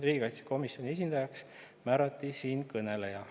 Riigikaitsekomisjoni esindajaks määrati siinkõneleja.